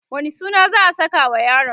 wani suna za'a sakawa yaron?